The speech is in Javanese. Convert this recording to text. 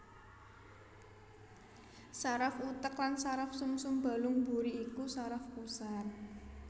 Saraf utek lan saraf sumsum balung mburi iku saraf pusat